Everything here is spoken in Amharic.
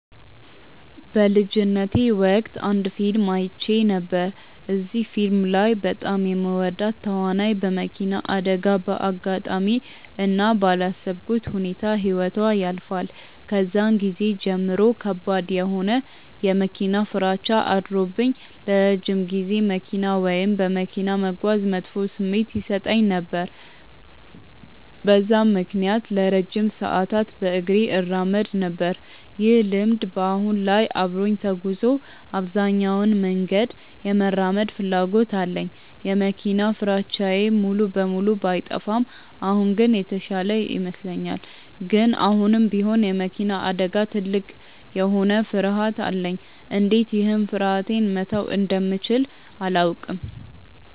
በልጅነቴ ወቅት አንድ ፊልም አይቼ ነበር። እዚህ ፊልም ላይ በጣም የምወዳት ተዋናይ በመኪና አደጋ በአጋጣሚ እና ባላሰብኩት ሁኔታ ህይወቷ ያልፋል። ከዛን ጊዜ ጀምሮ ከባድ የሆነ የመኪና ፍራቻ አድሮብኝ ለረጅም ጊዜ መኪና ወይም በመኪና መጓዝ መጥፎ ስሜት ይሰጠኝ ነበር። በዛም ምክንያት ለረጅም ሰዓታት በእግሬ እራመድ ነበር። ይህ ልምድ በአሁን ላይ አብሮኝ ተጉዞ አብዛኛውን መንገድ የመራመድ ፍላጎት አለኝ። የመኪና ፍራቻዬ ሙሉ በሙሉ ባይጠፋም አሁን ግን የተሻለ ይመስለኛል። ግን አሁንም ቢሆን የመኪና አደጋ ትልቅ የሆነ ፍርሀት አለኝ። እንዴት ይህን ፍርሀቴ መተው እንደምችል አላውቅም።